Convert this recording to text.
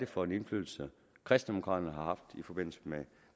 for en indflydelse kristendemokraterne har haft i forbindelse med